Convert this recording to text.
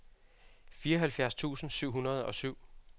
fireoghalvfjerds tusind syv hundrede og syv